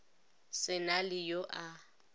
se na le yo a